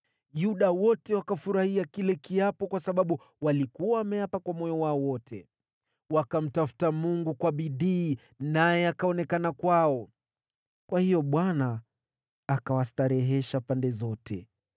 Yuda wote wakafurahia kile kiapo kwa sababu walikuwa wameapa kwa moyo wao wote. Wakamtafuta Mungu kwa bidii, naye akaonekana kwao. Kwa hiyo Bwana akawastarehesha pande zote.